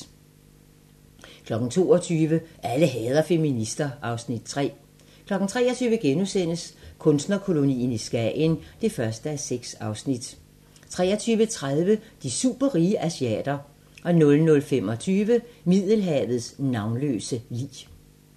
22:00: Alle hader feminister (Afs. 3) 23:00: Kunstnerkolonien i Skagen (1:6)* 23:30: De superrige asiater 00:25: Middelhavets navnløse lig